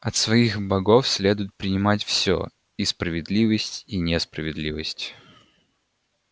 от своих богов следует принимать всё и справедливость и несправедливость